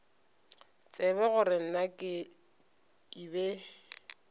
tsebe gore na ke be